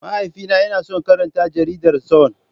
Mahaifina yana son karanta Jaridar Sun.